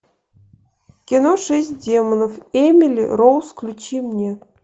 кино шесть демонов эмили роуз включи мне